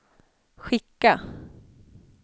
skicka